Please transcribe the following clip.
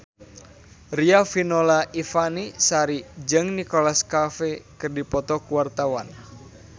Riafinola Ifani Sari jeung Nicholas Cafe keur dipoto ku wartawan